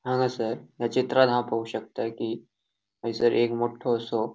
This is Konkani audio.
हंगसर या चित्रात हांव पोळो शकता कि हयसर एक मोठो असो.